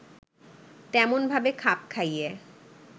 তেমনভাবে খাপ খাইয়ে